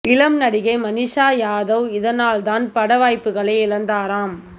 இளம் நடிகை மனீஷா யாதவ் இதனால் தான் பட வாய்ப்புகளை இழந்தாராம்